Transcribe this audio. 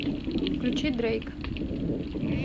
включи дрэйк